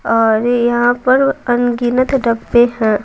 और यहां पर अनगिनत डब्बे हैं।